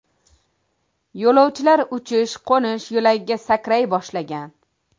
Yo‘lovchilar uchish-qo‘nish yo‘lagiga sakray boshlagan.